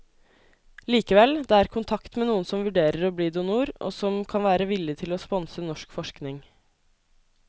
Likevel, det er kontakt med noen som vurderer å bli donor, og som kan være villig til å sponse norsk forskning.